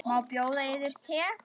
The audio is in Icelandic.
Má bjóða yður te?